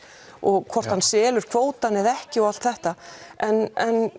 og hvort hann selur kvótann eða ekki og allt þetta en